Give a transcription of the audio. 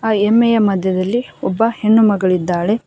ಆ ಎಮ್ಮೆಯ ಮಧ್ಯದಲ್ಲಿ ಒಬ್ಬ ಹೆಣ್ಣುಮಗಳು ಇದ್ದಾಳೆ.